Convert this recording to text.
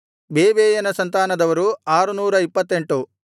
ಬೇಬೈಯನ ಸಂತಾನದವರು 628